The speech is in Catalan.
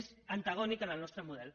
és antagònic al nostre model